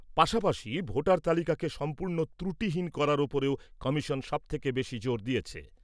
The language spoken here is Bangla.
পাশাপাশি, ভোটার তালিকাকে সম্পূর্ণ ত্রুটিহীন করার ওপরেও কমিশন সবথেকে বেশি জোর দিয়েছে।